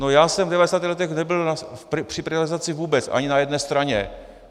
No já jsem v 90. letech nebyl při privatizaci vůbec, ani na jedné straně.